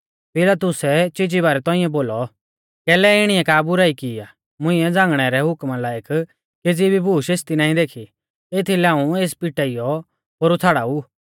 पिलातुसै चीज़ी बारै तौंइऐ बोलौ कैलै इणीऐ का बुराई की आ मुंइऐ झ़ांगणै रै हुकमा लायक केज़ी भी बूश एसदी नाईं देखी एथीलै हाऊं एस पिटाइयौ पोरु छ़ाड़ाऊ